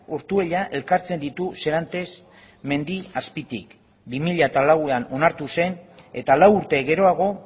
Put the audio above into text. ortuella elkartzen ditu serantes mendi azpitik bi mila lauan onartu zen eta lau urte geroago